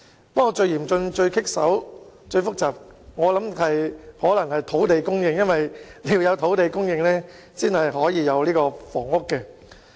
不過，我卻認為最嚴峻、最棘手和最複雜的是土地供應，因為要有土地供應，才能夠興建房屋。